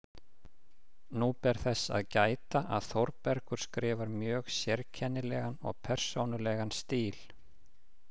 Nú ber þess að gæta, að Þórbergur skrifar mjög sérkennilegan og persónulegan stíl.